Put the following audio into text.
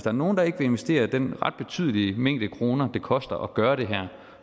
er nogen der ikke vil investere den ret betydelige mængde kroner det koster at gøre det her